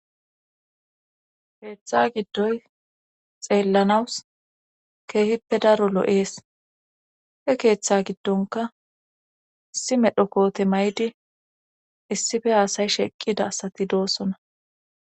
Keeththa giddoy xeellanawus keehippe daro lo7ees he keeththa giddonka issi medho koote maydi issife haasay sheqqida asati doossona